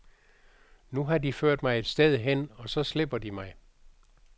Nu har de ført mig et sted hen, og så slipper de mig.